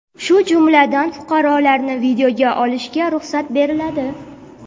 shu jumladan fuqarolarni videoga olishga ruxsat beriladi.